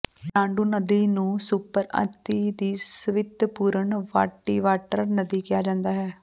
ਬ੍ਰਾਂਡੂ ਨਦੀ ਨੂੰ ਸੁਪਰ ਅਤਿ ਦੀ ਸੁਵੱਤਿਪੂਰਨ ਵ੍ਹਾਈਟਵਾਟਰ ਨਦੀ ਕਿਹਾ ਜਾਂਦਾ ਹੈ